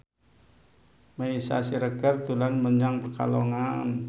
Meisya Siregar dolan menyang Pekalongan